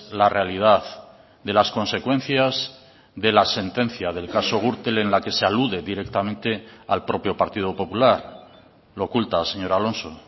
la realidad de las consecuencias de la sentencia del caso gürtel en la que se alude directamente al propio partido popular lo oculta señor alonso